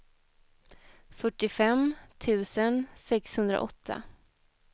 fyrtiofem tusen sexhundraåtta